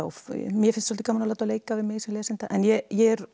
mér finnst svolítið gaman að láta leika við mig sem lesanda ég er